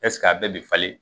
Ɛseke a bɛɛ bɛ falen?